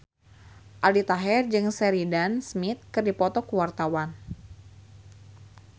Aldi Taher jeung Sheridan Smith keur dipoto ku wartawan